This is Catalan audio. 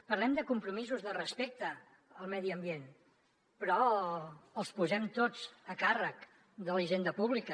parlem de compromisos de respecte al medi ambient però els posem tots a càrrec de la hisenda pública